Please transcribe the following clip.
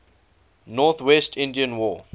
northwest indian war